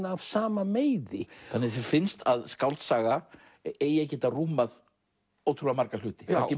af sama meiði þér finnst að skáldsaga eigi að geta rúmað ótrúlega marga hluti